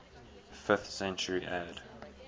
fifth century ad